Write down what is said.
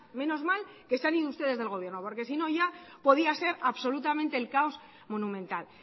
menos mal que se han ido ustedes del gobierno porque si no ya podía ser absolutamente el caos monumental